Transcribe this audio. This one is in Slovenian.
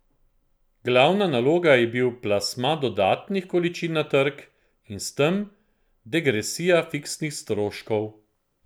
Glavna naloga je bil plasma dodatnih količin na trg in s tem degresija fiksnih stroškov.